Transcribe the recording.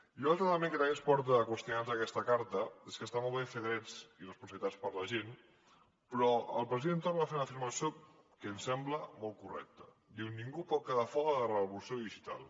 i un altre element que també ens porta a qüestionar nos aquesta carta és que està molt bé fer drets i responsabilitats per a la gent però el president torra va fer una afirmació que em sembla molt correcta diu ningú pot quedar fora de la revolució digital